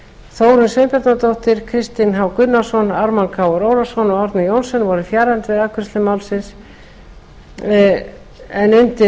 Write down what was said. þórunn sveinbjarnardóttir kristinn h gunnarsson ármann krónu ólafsson og árni johnsen voru fjarverandi við afgreiðslu málsins en undir